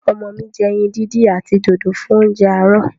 Ọmọ mi ma jẹ ẹyin díndín àti dòdò fún óúnjẹ àárò.